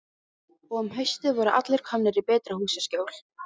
Og um haustið voru allir komnir í betra húsaskjól.